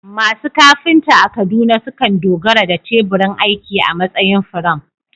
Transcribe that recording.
Masu kafinta a Kaduna sukan dogara da teburin aiki a matsayin firam